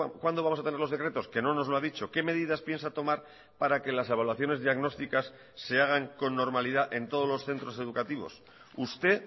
cuándo vamos a tener los decretos que no nos lo ha dicho qué medidas piensa tomar para que las evaluaciones diagnósticas se hagan con normalidad en todos los centros educativos usted